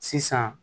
Sisan